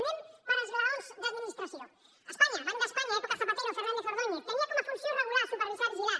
anem per esglaons d’administració espanya banc d’espanya època zapatero fernández ordóñez tenia com a funció regular supervisar vigilar